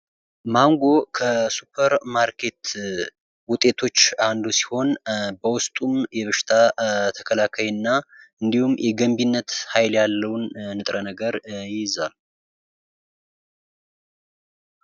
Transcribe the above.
ማንጎ ከሱፐርማርኬት ውጤቶች አንዱ ሲሆን በውስጡም የበሽታ ተከላካይ እና እንዲሁም የገንቢነት ሃይል ያለው ንጥረ ነገር ይይዛል።